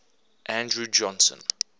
andrew johnson